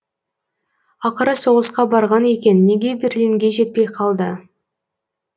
ақыры соғысқа барған екен неге берлинге жетпей калды